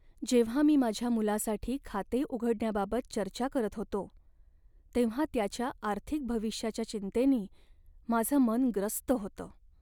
जेव्हा मी माझ्या मुलासाठी खाते उघडण्याबाबत चर्चा करत होतो, तेव्हा त्याच्या आर्थिक भविष्याच्या चिंतेनी माझं मन ग्रस्त होतं.